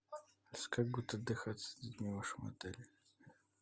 как будет отдыхаться с детьми в вашем отеле